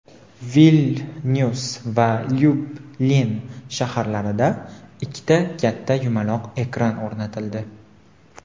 Vilnyus va Lyublin shaharlarida ikkita katta yumaloq ekran o‘rnatildi.